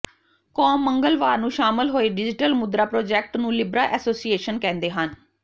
Com ਮੰਗਲਵਾਰ ਨੂੰ ਸ਼ਾਮਲ ਹੋਏ ਡਿਜ਼ੀਟਲ ਮੁਦਰਾ ਪ੍ਰਾਜੈਕਟ ਨੂੰ ਲਿਬਰਾ ਐਸੋਸੀਏਸ਼ਨ ਕਹਿੰਦੇ ਹਨ